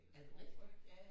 Er det rigtigt?